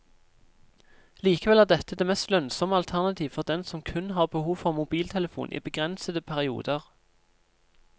Likevel er dette det mest lønnsomme alternativ for den som kun har behov for mobiltelefon i begrensede perioder.